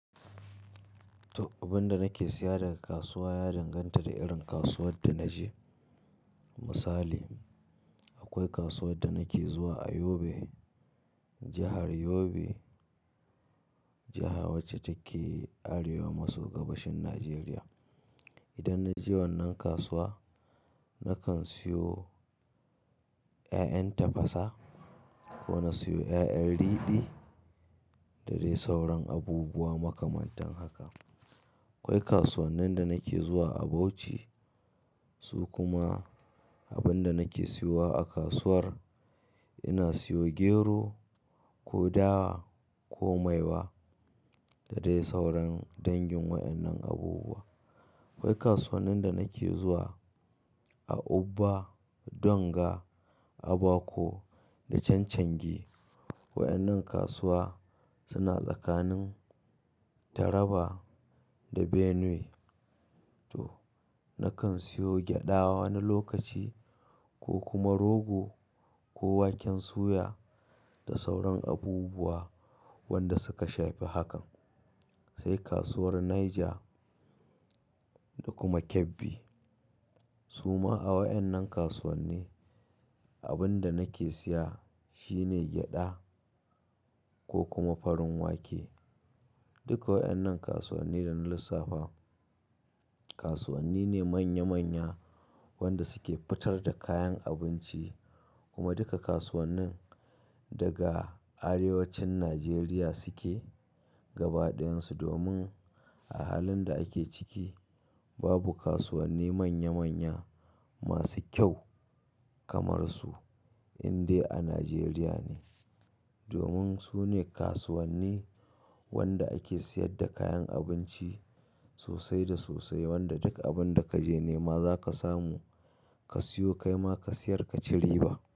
Abin da nake siya daga kasuwa ya danganta da irin kasuwar da naje. Misali, akwai kasuwar da nake zuwa a Yobe, jahar Yobe, jaha ce wacce take arewa maso gabashin Najeriya. Idan naje wannan kasuwa nakan siyo ƴaƴan tafasa ko na siyo ƴaƴan riɗi da dai sauran abubuwa makamantan haka. Akwai kasuwannin da nake zuwa a Bauchi, su kuma abin da nake siyowa a kasuwar, ina siyo gero ko dawa ko maiwa da dai sauran dangin wadannan abubuwa. Akwai kasuwannin da nake zuwa a Ubba, Donga, Aba ko da Canchangi. Waƴannan kasuwa suna tsakanin Taraba da Benue. To nakan siyo gyaɗa wani lokaci ko kuma rogo ko waken suya da sauran abubuwa wanda suka shafi hakan. Sai kasuwar Niger da kuma Kebbi. Suma a wadannan kasuwanni abin da nake siya shine gyaɗa ko kuma farin wake. Duka wadannan kasuwanni da na lissafa kasuwanni ne manya-manya wanda suke fitar da kayan abinci kuma duka kasuwannin daga arewacin Najeriya suke gaba ɗayansu domin a halin da ake ciki babu kasuwanni manya-manya masu kyau kamar su in dai a Najeriya ne. Domin sune kasuwanni wanda ake siyar da kayan abinci sosai da sosai wanda duk abunda kaje nema zaka samu ka siyo kaima ka siyar ka ci riba.